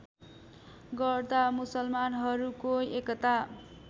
गर्दा मुसलमानहरूको एकता